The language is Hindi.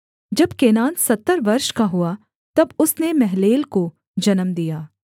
जब केनान सत्तर वर्ष का हुआ तब उसने महललेल को जन्म दिया